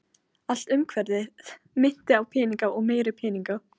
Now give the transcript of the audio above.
Allt umhverfið minnti á peninga og meiri peninga.